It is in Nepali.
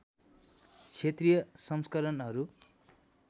क्षेत्रीय संस्करणहरू